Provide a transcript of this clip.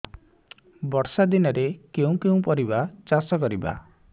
ବର୍ଷା ଦିନରେ କେଉଁ କେଉଁ ପରିବା ଚାଷ କରିବା